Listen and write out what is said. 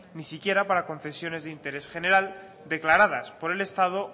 ni siquiera para concesiones de interés general declaradas por el estado